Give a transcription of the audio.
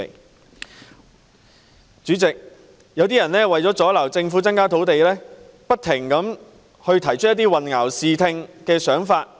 代理主席，有些人為了阻撓政府增加土地供應，不停提出混淆視聽的說法。